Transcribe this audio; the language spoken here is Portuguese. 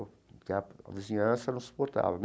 Porque a a vizinhança não suportava.